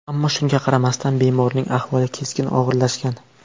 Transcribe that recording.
Ammo shunga qaramasdan bemorning ahvoli keskin og‘irlashgan.